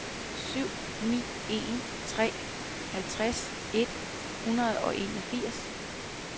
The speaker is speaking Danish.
syv ni en tre halvtreds et hundrede og enogfirs